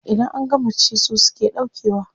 Idan an gama ci su suke ɗaukewa.